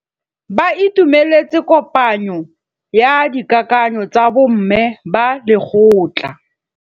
Ba itumeletse kôpanyo ya dikakanyô tsa bo mme ba lekgotla.